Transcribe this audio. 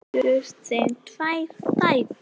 Þar fæddust þeim tvær dætur.